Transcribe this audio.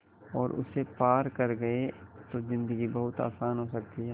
और उसे पार कर गए तो ज़िन्दगी बहुत आसान हो सकती है